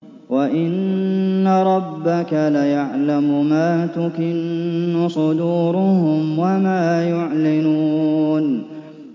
وَإِنَّ رَبَّكَ لَيَعْلَمُ مَا تُكِنُّ صُدُورُهُمْ وَمَا يُعْلِنُونَ